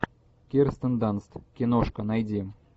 кирстен данст киношка найди